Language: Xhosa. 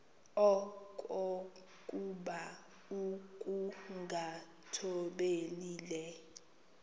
okokuba ukungathobeli le